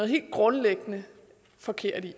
helt grundlæggende forkert i